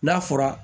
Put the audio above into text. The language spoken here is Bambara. N'a fɔra